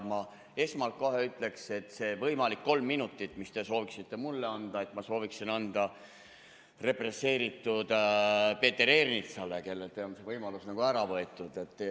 Ma esmalt kohe ütleks, et selle võimaliku kolm minutit, mis te saaksite mulle anda, ma sooviksin anda represseeritud Peeter Ernitsale, kellelt on see võimalus ära võetud.